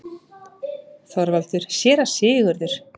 ÞORVALDUR: Séra Sigurður!